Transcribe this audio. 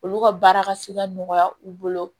Olu ka baara ka se ka nɔgɔya u bolo